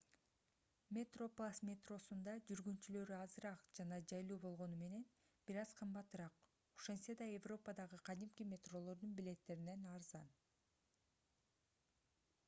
metroplus метросунда жүргүнчүлөр азыраак жана жайлуу болгону менен бир аз кымбатыраак ошентсе да европадагы кадимки метролордун билеттеринен арзан